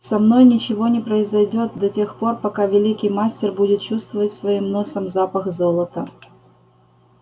со мной ничего не произойдёт да тех пор пока великий мастер будет чувствовать своим носом запах золота